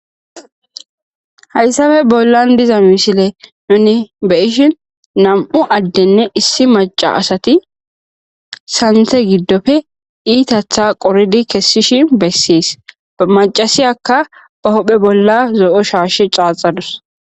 Hayssafe bollan diza misile nuni beyishin nam'u addenne issi maca asati santhe giddofe iitatha qoridi kessishi bessies amacasiyakka ba hohphe bolla zo'o shaashe caaxadus .